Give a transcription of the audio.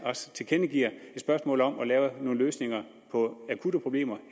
tilkendegiver et spørgsmålet om at lave nogle løsninger på akutte problemer